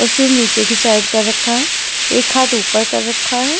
और सिर नीचे की साइड कर रखा है एक हाथ ऊपर कर रखा है।